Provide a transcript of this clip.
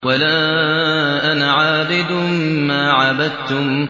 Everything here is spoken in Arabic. وَلَا أَنَا عَابِدٌ مَّا عَبَدتُّمْ